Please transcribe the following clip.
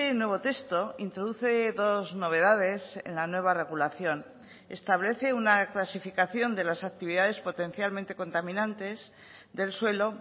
nuevo texto introduce dos novedades en la nueva regulación establece una clasificación de las actividades potencialmente contaminantes del suelo